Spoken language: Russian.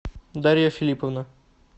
дарья филипповна